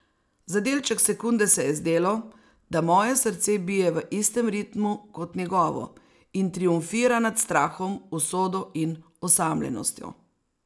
Za delček sekunde se je zdelo, da moje srce bije v istem ritmu kot njegovo in triumfira nad strahom, usodo in osamljenostjo.